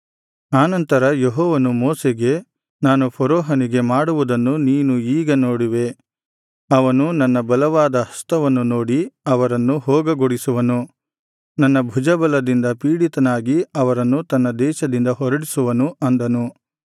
ಆನಂತರ ಯೆಹೋವನು ಮೋಶೆಗೆ ನಾನು ಫರೋಹನಿಗೆ ಮಾಡುವುದನ್ನು ನೀನು ಈಗ ನೋಡುವೆ ಅವನು ನನ್ನ ಬಲವಾದ ಹಸ್ತವನ್ನು ನೋಡಿ ಅವರನ್ನು ಹೋಗಗೊಡಿಸುವನು ನನ್ನ ಭುಜಬಲದಿಂದ ಪೀಡಿತನಾಗಿ ಅವರನ್ನು ತನ್ನ ದೇಶದಿಂದ ಹೊರಡಿಸುವನು ಅಂದನು